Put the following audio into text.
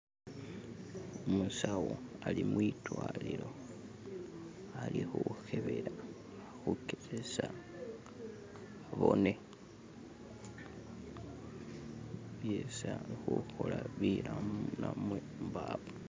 umusawo ali mwidwalilo alihuhebela ali hukezesa abone byesi alihuhola bilamu namwe mbawo